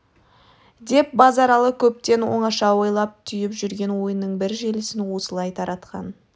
деп базаралы көптен оңаша ойлап түйіп жүрген ойының бір желісін осылай таратқан